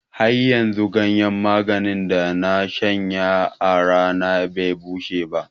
Haryanzu ganyen maganin da na shanya a rana be bushe ba.